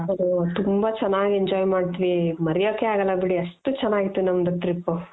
ಅದು ತುಂಬ ಚೆನಾಗ್ enjoy ಮಾಡುದ್ವಿ ಮರಿಯಕೆ ಆಗಲ್ಲ ಬಿಡಿ ಅಷ್ಟು ಚೆನಾಗಿತ್ತು ನಮ್ದು trip.